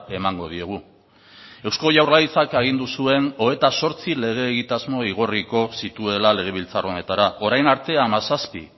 emango diegu eusko jaurlaritzak agindu zuen hogeita zortzi lege egitasmo igorriko zituela legebiltzar honetara orain arte hamazazpi